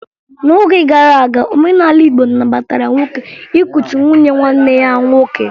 N'oge gara aga, omenala Igbo nabatara nwoke ịkụchi nwunye nwanne ya nwoke